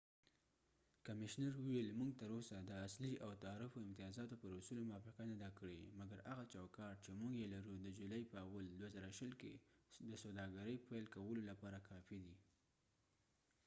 کمشنر وویل، موږ تراوسه د اصلي او تعرفو امتیازاتو پر اصولو موافقه نه ده کړې، مګر هغه چوکاټ چې موږ یې لرو د جولای په 1، ۲۰۲۰ کې د سوداګرۍ پیل کولو لپاره کافي دي